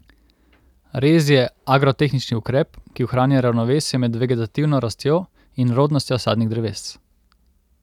Rez je agrotehnični ukrep, ki ohranja ravnovesje med vegetativno rastjo in rodnostjo sadnih dreves.